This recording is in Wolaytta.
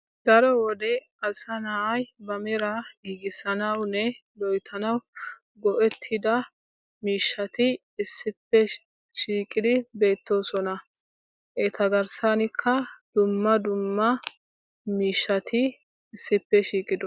Daro wode asa na'ay ba mera giigissanawunne loyttanaw go"ettida miishshati issippe shiiqidi beettoosona. Eta garssankka dumma dumma miishshati issippe shiiqidosoona.